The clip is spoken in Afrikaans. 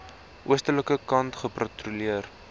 oostelike kant gepatrolleer